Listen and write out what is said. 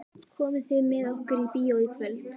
Komið þið með okkur í bíó í kvöld?